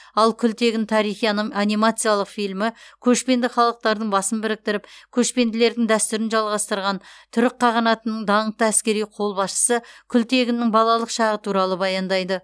ал күлтегін тарихи аным анимациялық фильмі көшпенді халықтардың басын біріктіріп көшпенділердің дәстүрін жалғастырған түрік қағанатының даңқты әскери қолбасшысы күлтегіннің балалық шағы туралы баяндайды